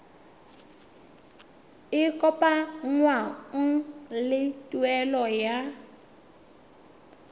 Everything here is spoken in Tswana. e kopanngwang le tuelo ya